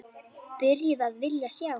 Byrjuð að vilja sjá.